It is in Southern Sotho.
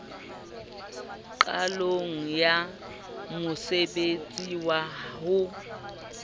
qalong ya mosebtsi wa ho